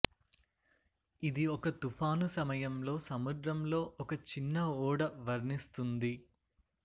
ఇది ఒక తుఫాను సమయంలో సముద్రంలో ఒక చిన్న ఓడ వర్ణిస్తుంది